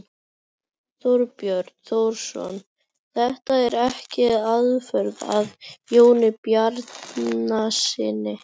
Þorbjörn Þórðarson: Þetta er ekki aðför að Jóni Bjarnasyni?